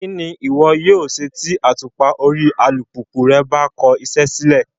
Kí ni ìwọ yóò ṣe tí àtùpà orí alùpùpù rẹ bá kọ iṣẹ́ sílẹ̀?